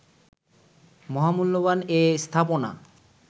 মহামূল্যবান এ স্থাপনা